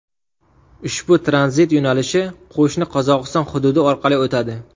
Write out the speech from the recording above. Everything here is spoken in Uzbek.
Ushbu tranzit yo‘nalishi qo‘shni Qozog‘iston hududi orqali o‘tadi.